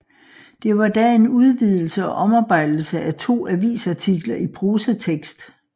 Det var da en udvidelse og omarbejdelse af to avisartikler i prosatekst